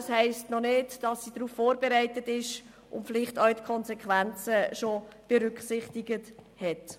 Es heisst aber noch nicht, dass die Gemeinden vorbereitet sind und die Konsequenzen berücksichtigt haben.